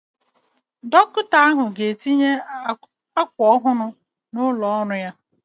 Dọkịta ahụ ga-etinye akwa ọhụrụ n'ụlọ ọrụ ya